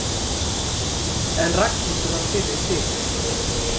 En Ragnhildur varð fyrri til.